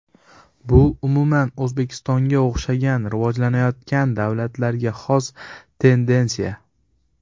Bu umuman O‘zbekistonga o‘xshagan rivojlanayotgan davlatlarga xos tendensiya.